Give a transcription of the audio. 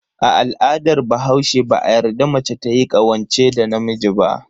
A al'adar bahaushe, ba a yarda mace tayi ƙawance da namiji ba.